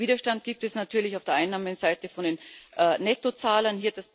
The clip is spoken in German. Widerstand gibt es natürlich auf der Einnahmenseite von den Nettozahlern.